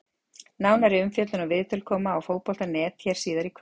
Nánari umfjöllun og viðtöl koma á Fótbolta.net hér síðar í kvöld!